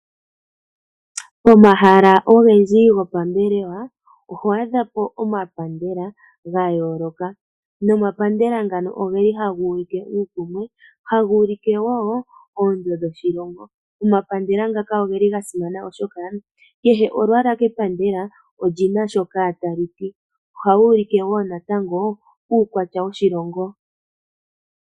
Pomahala ogendji gopambelewa oho adhapo omapandela gayooloka nomapandela ngano ogeli haga ulike uukumwe haga ulike wo oonzo dhoshilongo. Omapandela ngaka ogeli ga simana oshoka kehe olwaala kepandela oli na shoka talu ti. Ohaga ulike wo natango uukwatya woshilongo.